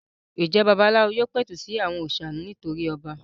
Ǹjẹ́ babaláwo yóò pẹ̀tù sí àwọn òrìṣà nítorí ọba?